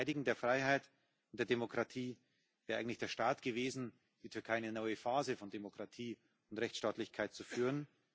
DieVerteidigung der Freiheit und der Demokratie wäre eigentlich der Start gewesen, die Türkei in eine neue Phase von Demokratie und Rechtsstaatlichkeit zu führen.